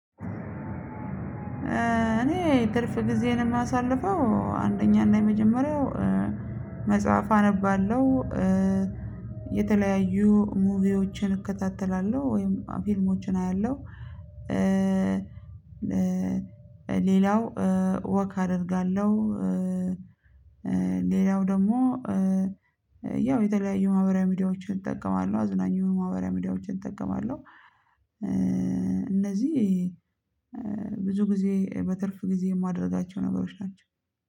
እኔ ትርፍ ጊዜን የማሳልፈው አንደኛና የመጀመሪያው መጽሐፍ አነባለሁ። የተለያዩ ሙቪዎችን እከታተላለሁ ወይም ፊልሞችን አያለሁ። ሌላው ወክ አደርጋለሁ። ሌላው ደግሞ ያው የተለያዩ ማህበራዊ ሚዲያዎችን እጠቀማለሁ አዝናኝ ማህበራዊ ሚዲያዎችን እጠቀማለሁ። እነዚህ ብዙ ጊዜ በትርፍ ጊዜ የማደርጋቸው ነገሮች ናቸው